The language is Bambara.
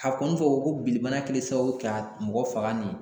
A kɔni fɔ ko binni bana kɛlen sababu ye ka mɔgɔ faga nin ye.